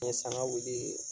N ye sangawili